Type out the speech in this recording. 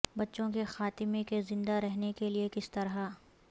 بچوں کے خاتمے کے زندہ رہنے کے لئے کس طرح